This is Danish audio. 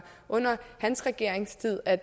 under hans regeringstid at